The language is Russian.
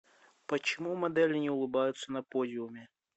почему модели не улыбаются на подиуме